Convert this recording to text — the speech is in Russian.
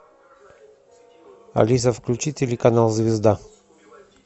алиса включи телеканал звезда